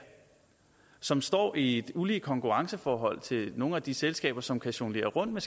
som står i et ulige konkurrenceforhold til nogle af de selskaber som kan jonglere rundt